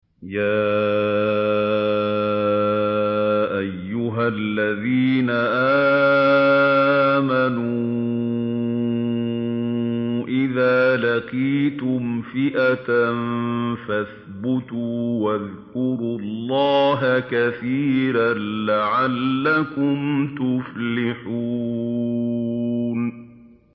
يَا أَيُّهَا الَّذِينَ آمَنُوا إِذَا لَقِيتُمْ فِئَةً فَاثْبُتُوا وَاذْكُرُوا اللَّهَ كَثِيرًا لَّعَلَّكُمْ تُفْلِحُونَ